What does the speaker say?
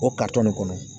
O nin kɔnɔ